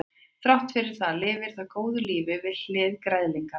þrátt fyrir það lifir það góðu lífi við hlið græðlinga